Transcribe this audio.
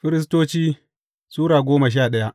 Firistoci Sura goma sha daya